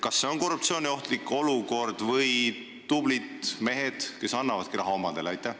Kas see on korruptsiooniohtlik olukord või on tublid mehed, kes annavadki raha omadele?